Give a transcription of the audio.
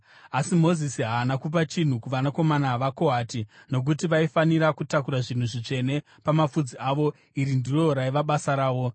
Asi Mozisi haana kupa chinhu kuvanakomana vaKohati, nokuti vaifanira kutakura zvinhu zvitsvene pamapfudzi avo, iri ndiro raiva basa ravo.